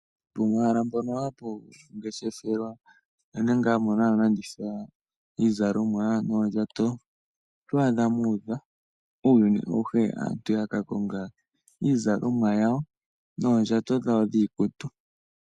Pomahala mpono hapu ngeshefelwa uunene ngaa mono hamu landithwa iizalomwa noondjato oto adha muudha uuyuni awuhe, aantu yaka konga iizalomwa yawo noondjato dhawo dhiikutu.